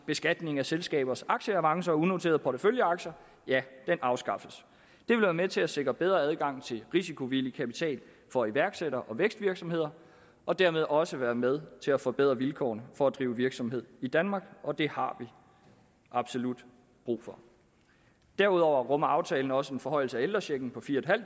beskatning af selskabers aktieavancer og unoterede porteføljeaktier afskaffes det vil være med til at sikre bedre adgang til risikovillig kapital for iværksættere og vækstvirksomheder og dermed også være med til at forbedre vilkårene for at drive virksomhed i danmark og det har vi absolut brug for derudover rummer aftalen også en forhøjelse af ældrechecken på fire